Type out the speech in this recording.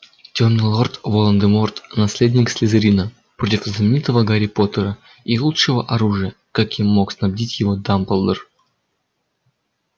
тёмный лорд волан-де-морт наследник слизерина против знаменитого гарри поттера и лучшего оружия каким мог снабдить его дамблдор